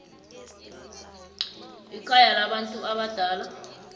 ekhaya labantu abadala